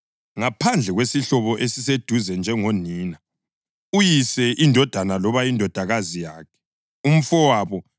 ngaphandle kwesihlobo esiseduze njengonina, uyise, indodana loba indodakazi yakhe, umfowabo